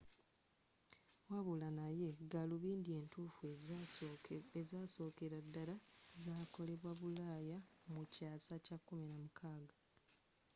wabula naye gaalubindi entuffu ezasookera ddala zakolebwa bulaaya mu kyaasa kya 16